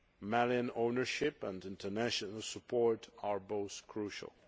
Malian ownership and international support are both crucial.